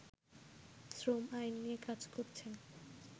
শ্রম আইন নিয়ে কাজ করছেন